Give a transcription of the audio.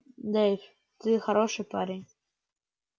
дейв ты хороший парень